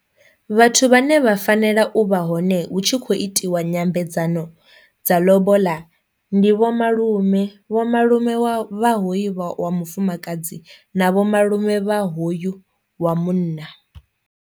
Vhathu vhane vha fanela u vha hone hu tshi khou itiwa nyambedzano dza lobola ndi vho malume, vho malume wa vha hoyu vha wa mufumakadzi na vho malume vha hoyu wa munna.